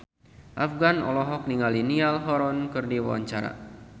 Afgan olohok ningali Niall Horran keur diwawancara